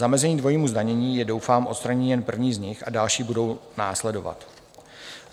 Zamezení dvojímu zdanění je doufám odstranění jen první z nich a další budou následovat.